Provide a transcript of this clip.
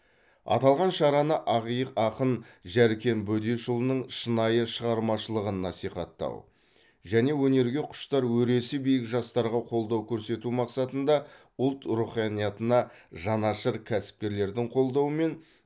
аталған шараны ақиық ақын жәркен бөдешұлының шынайы шығармашылығын насихаттау және өнерге құштар өресі биік жастарға қолдау көрсету мақсатында ұлт руханиятына жанашыр кәсіпкерлердің қолдауымен